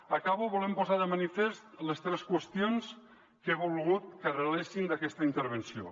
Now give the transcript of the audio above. acabo volent posar de manifest les tres qüestions que he volgut que arrelessin d’aquesta intervenció